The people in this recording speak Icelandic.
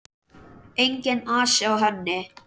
Enginn asi á henni.